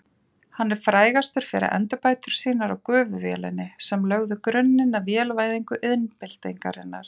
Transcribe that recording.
Hann er frægastur fyrir endurbætur sínar á gufuvélinni sem lögðu grunninn að vélvæðingu iðnbyltingarinnar.